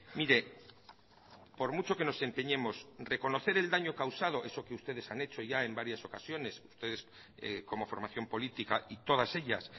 mire por mucho que nos empeñemos reconocer el daño causado eso que ustedes han hecho ya en varias ocasiones ustedes como formación política y todas ellas